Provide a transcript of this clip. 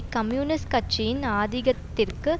communist கட்சியின் ஆதிகத்திற்கு